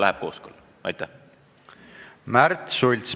Märt Sults, palun!